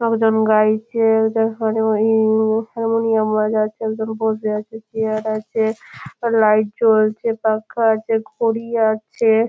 লোকজন গাইছে একটা হার ই হারমনিয়াম বাজাচ্ছে একজন বসে আছে চেয়ার আছে লাইট জ্বলছে পাখা আছে ঘড়ি আছে-এ --